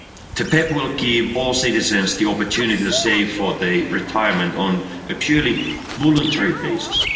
The PEPP will give all citizens the opportunity to save for their retirement on a purely voluntary basis.